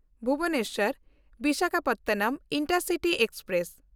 Bhubaneswar Visakhapatnam intercity express